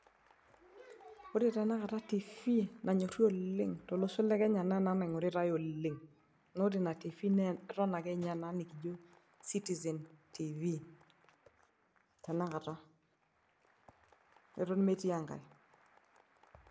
ore tenakata tv nanyorri oleng tolosho le kenya naa ena naingoritae oleng naa ore ina tv naa eton ake ninye ena citizen tv tenakata eton metii enkae.